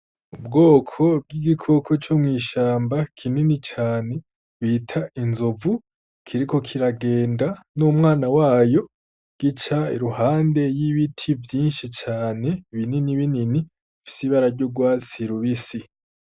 Ubwoko bw'igikoko co mw'ishamba kinini cane bita inzovu kiriko kiragenda n'umwana wayo, gica iruhande y'ibiti vyinshi cane binini binini bifise ibara ry'urwatsi rubisi.